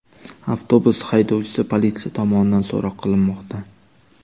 Avtobus haydovchisi politsiya tomonidan so‘roq qilinmoqda.